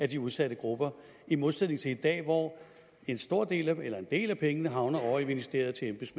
de udsatte grupper i modsætning til i dag hvor en del af pengene havner ovre i ministeriet